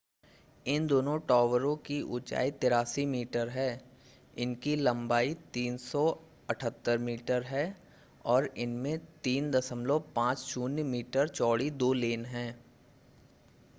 इन दोनों टावर की ऊंचाई 83 मीटर है इनकी लंबाई 378 मीटर है और इनमें 3.50 मीटर चौड़ी दो लेन हैं